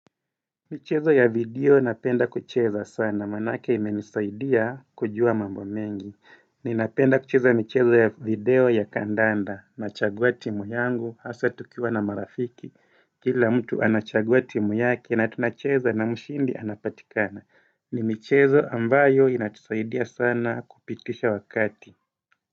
Michezo ya video napenda kucheza sana, maanake imenisaidia kujua mambo mengi Ninapenda kucheza michezo ya video ya kandanda, nachagua timu yangu, hasa tukiwa na marafiki Kila mtu anachagua timu yake na tunacheza na mshindi anapatikana ni michezo ambayo inatusaidia sana kupitisha wakati.